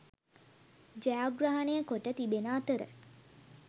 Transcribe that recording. ජයග්‍රහණය කොට තිබෙන අතර